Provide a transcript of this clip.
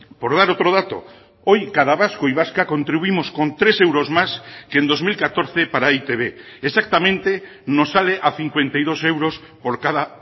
por dar otro dato hoy cada vasco y vasca contribuimos con tres euros más que en dos mil catorce para e i te be exactamente nos sale a cincuenta y dos euros por cada